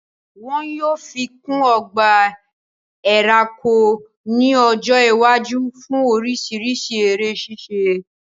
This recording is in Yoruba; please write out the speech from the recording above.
Wọn yóò fi kún ọgbà ẹranko ní ọjọ́ iwájú fún oríṣiríṣi eré ṣíṣe